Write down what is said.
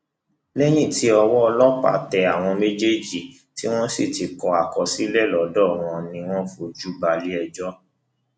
lẹ́yìn tí ọwọ ọlọ́pàá tẹ àwọn méjèèjì tí wọn sì ti kọ àkọsílẹ lọdọ wọn ni wọn fojú balẹẹjọ